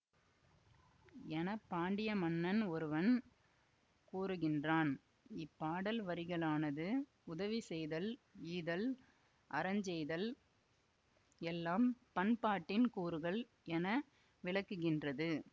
என பாண்டிய மன்னன் ஒருவன் கூறுகின்றான் இப்பாடல் வரிகளானது உதவி செய்தல் ஈதல் அறஞ்செய்தல் எல்லாம் பண்பாட்டின் கூறுகள் என விளக்குகின்றது